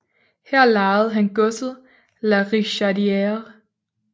Her lejede han godset La Richardière